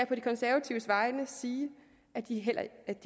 på de konservatives vegne sige at de